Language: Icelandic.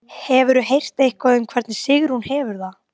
Hefurðu heyrt eitthvað um hvernig Sigrún hefur það?